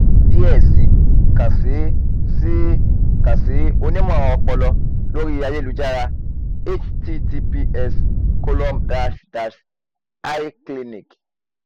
fun alaye diẹ sii kan si sii kan si onimọ-ọpọlọ lori ayelujara https colom dash dash icliniq